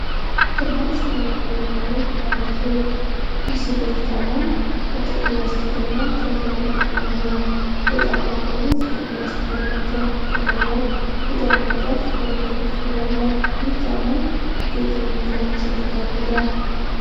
ደማቅ ሰማያዊ ቀለም ያለው ባለስዌድ ቼልሲ ቦት ጫማ ከጥቁር ላስቲክ እና ሾል ያለው ጫማ አለው። የጫማው ጎኖች ጥቁር ላስቲክ አላቸው። ከጀርባው የጫማው ጫፍ ወደ ላይ ከፍ ብሎ አለ። ይህ ጫማ ከየትኛው የፋሽን ስልት ጋር ይሄዳል?